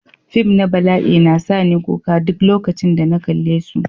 Fim na bala'i na sa ni kuka duk lokacin da na kalle su.